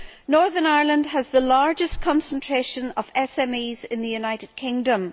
Northern Ireland has the largest concentration of SMEs in the United Kingdom.